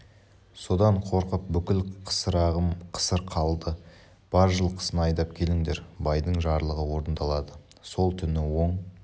содан қорқып бүкіл қысырағым қысыр қалды бар жылқысын айдап келіңдер байдың жарлығы орындалады сол түні оң